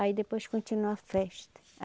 Aí depois continua a festa.